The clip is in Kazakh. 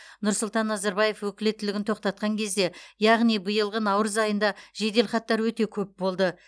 нұрсұлтан назарбаев өкілеттігін тоқтатқан кезде яғни биылғы наурыз айында жеделхаттар өте көп болды